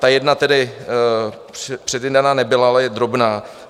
Ta jedna tedy předjednaná nebyla, ale je drobná.